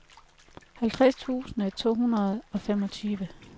halvtreds tusind to hundrede og femogtyve